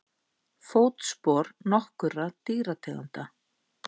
Fótspor nokkurra dýrategunda.